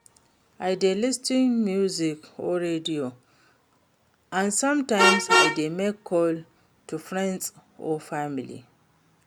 I dey lis ten to music or radio, and sometimes i dey make calls to friends or family.